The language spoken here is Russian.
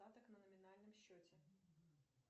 остаток на номинальном счете